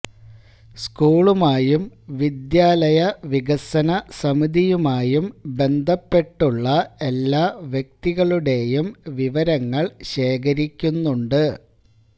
സ്കൂളുമായും വിദ്യാലയ വികസനസമിതിയുമായും ബന്ധപ്പെട്ടുള്ള എല്ലാ വ്യക്തികളുടെയും വിവരങ്ങൾ ശേഖരിക്കുന്നുണ്ട്